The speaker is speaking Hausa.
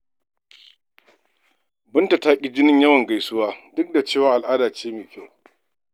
Binta ta ƙi jinin yawan gaisuwa duk da cewa al'ada ce mai kyau.